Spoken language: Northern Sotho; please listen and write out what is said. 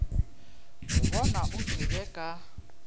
go bona o tšwele ka